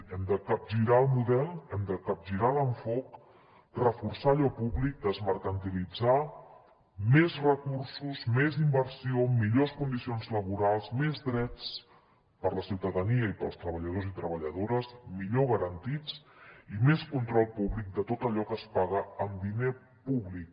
hem de capgirar el model hem de capgirar l’enfocament reforçar allò públic desmercantilitzar més recursos més inversió millors condicions laborals més drets per a la ciutadania i per als treballadors i treballadores millor garantits i més control públic de tot allò que es paga amb diner públic